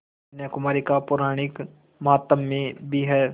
कन्याकुमारी का पौराणिक माहात्म्य भी है